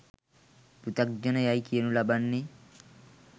පෘථග්ජන යයි කියනු ලබන්නේ